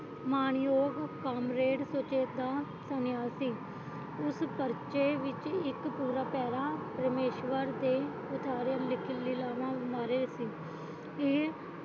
ਮਾਣਯੋਗ ਕਾਂਗਰਸ ਸੁਚੇਤਾ ਸੰਨਿਆਸੀ ਉਸ ਪਰਚੇ ਵਿਚ ਇਕ ਪੂਰਾ ਪੈਰਾਹ ਰਾਮੇਸ਼ਵਰ ਦੇ ਉਸਾਰੇ ਲਿਖ ਲਿਆ ਸੀ